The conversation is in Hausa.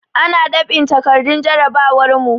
Ana dab'in takardun jarabawar mu.